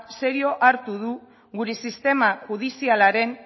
serio hartu du gure sistema judizialaren